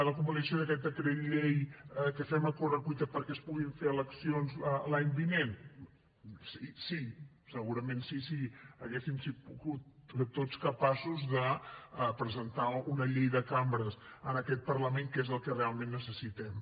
la convalidació d’aquest decret llei que fem a correcuita perquè es puguin fer eleccions l’any vinent sí segurament sí si haguéssim sigut tots capaços de presentar una llei de cambres en aquest parlament que és el que realment necessitem